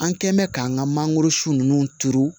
An kɛ mɛn k'an ka mangoro si ninnu turu